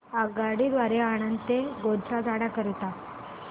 आगगाडी द्वारे आणंद ते गोध्रा जाण्या करीता